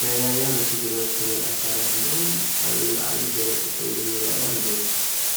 ናይ ራያ በቲ ግርማ ዝተመአ ኣከዳድንኦም ኣብ እግሪ ዓብዪ ገረብ ጠጠው ኢሎም ይረአዩ ኣለዉ፡፡